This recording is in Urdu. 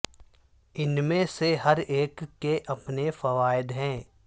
ان میں سے ہر ایک کے اپنے فوائد ہیں